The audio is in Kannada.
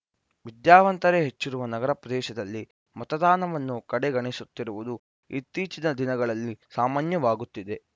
ವಿದ್ಯಾವಂತರೇ ಹೆಚ್ಚಿರುವ ನಗರ ಪ್ರದೇಶದಲ್ಲಿ ಮತದಾನವನ್ನು ಕಡೆಗಣಿಸುತ್ತಿರುವುದು ಇತ್ತೀಚಿನ ದಿನಗಳಲ್ಲಿ ಸಾಮಾನ್ಯವಾಗುತ್ತಿದೆ